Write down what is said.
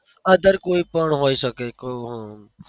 other કોઈ પણ હોઈ શકે